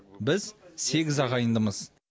біз сегіз ағайындымыз